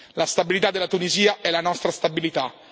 La stabilità della Tunisia è la nostra stabilità.